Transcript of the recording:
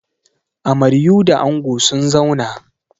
Amaryua da ango sun zauna.